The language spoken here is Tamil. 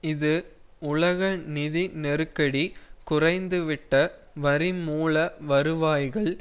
இது உலக நிதி நெருக்கடி குறைந்துவிட்ட வரி மூல வருவாய்கள்